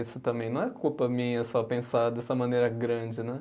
Isso também não é culpa minha só pensar dessa maneira grande, né?